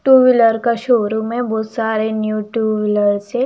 To wheeler का showroom है। बहोत सारे न्यू टू व्हीलर है।